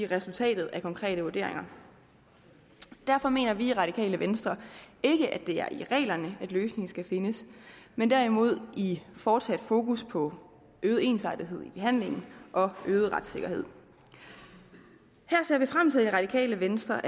resultatet af konkrete vurderinger derfor mener vi i radikale venstre ikke at det er i reglerne at løsningen skal findes men derimod i fortsat at have fokus på øget ensartethed i behandlingen og øget retssikkerhed her ser vi i radikale venstre